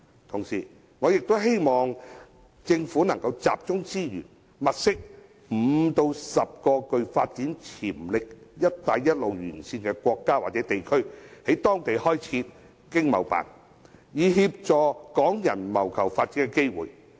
同時，我亦希望政府集中資源，物色5個至10個具發展潛力的"一帶一路"沿線國家或地區，在當地開設香港經濟貿易辦事處，以協助港人謀求發展機會。